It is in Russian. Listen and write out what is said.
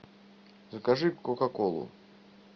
закажи кока колу